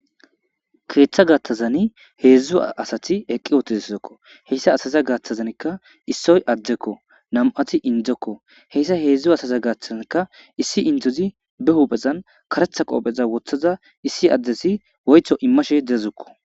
keeththa gattazani heedzdzu asati eqqi ootizszekko heyssa asaza gaaththazankka issoy addekko nam7ati indzokko heyssa heedzdzu asaza gaaththazankka issi indzozi be huphezan karetha qoopheza wothaza issi addesi woytho immashe dazukko